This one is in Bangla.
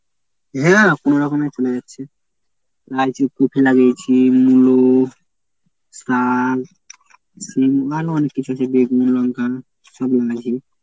হ্যাঁ কোনো রকমে চলে যাচ্ছে। লাইচি কপি লাগিয়েছি শিম মূলো শিম আরো অনেক কিছু যে বেগুন লঙ্কা